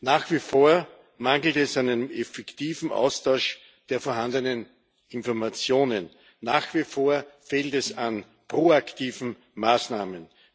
Nach wie vor mangelt es an einem effektiven Austausch der vorhandenen Informationen. Nach wie vor fehlt es an proaktiven Maßnahmen.